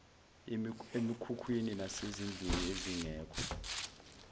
emikhukhwini nasezindlini ezingekho